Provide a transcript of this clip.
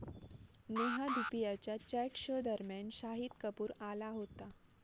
नेहा धुपियाच्या chat show दरम्यान शाहिद कपूर आला होता.